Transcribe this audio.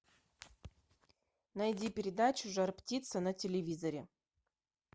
найди передачу жар птица на телевизоре